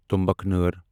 تمبکنأر